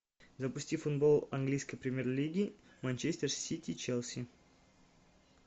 запусти футбол английской премьер лиги манчестер сити челси